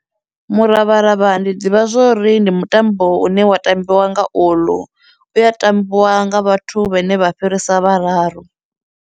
Muravharavha ndi ḓivha zwori ndi mutambo une wa tambiwa nga uḽu, u ya tambiwa nga vhathu vhane vha fhirisa vhararu.